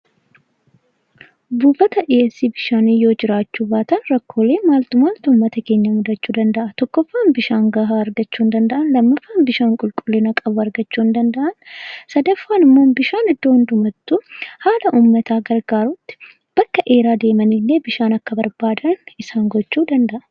Dhiyeessiin bishaanii yoo jiraachuu baate rakkoolee maal maaltu uummata keenya mudachuu danda'a? Tokkoffaan bishaan gahaa argachuu hin danda'an lammaffaan bishaan qulqullina qabu argachuu hin danda'an. Sadaffaan immoo bakka dheeraa deemanii bishaan akka isaan barbaadan isaan gochuu danda'a.